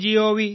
Gov